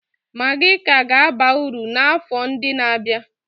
Magi ka ga-aba uru n'afọ ndị na-abịa.